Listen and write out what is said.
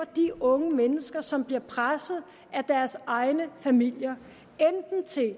de unge mennesker som bliver presset af deres egne familier